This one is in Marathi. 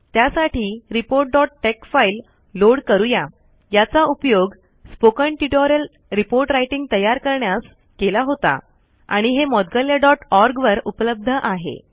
त्यासाठी reportटेक्स फाईल लोड करूया याचा उपयोग स्पोकन ट्यूटोरियल रिपोर्ट राइटिंग तयार करण्यास केला होता आणि हे moudgalyaओआरजी वर उपलब्ध आहे